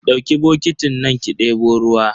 Dauki bokitin nan ki debo ruwa.